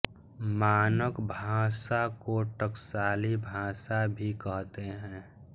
मानक भाषा को टकसाली भाषा भी कहते हैं